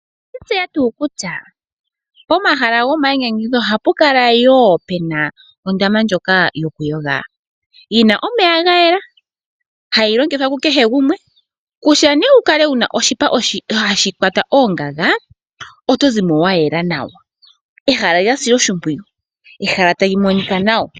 Oweshitseya tuu kusha pomahala gomayinyanyudho ohapukala yoo pena ondama ndjoka yokuyoga. Yina omeya gayela hayilongithwa kukeshe gumwe. Kusha owukale wuna oshipa hashikwata oongaga otozimo wayela nawa. Ehala lyasilwa oshimpwiyu, ehala talimonika nawa.